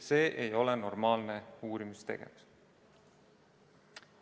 See ei ole normaalne uurimistegevus.